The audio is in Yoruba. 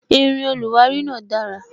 Irin oluwari náà dara